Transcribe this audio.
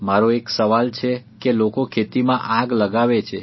મારો એક સવાલ છે કે લોકો ખેતીમાં આગ લગાવે છે